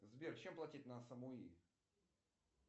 сбер чем платить на самуи